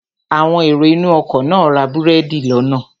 Àwọn èrò inú ọkọ̀ náà ra búrẹ́dì lọ́nà